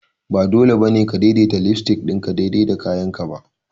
Ba dole ba ne ka daidaita lipstick ɗinka daidai da kayanka ba!